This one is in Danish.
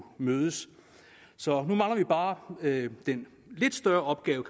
mødes så nu mangler vi bare den lidt større opgave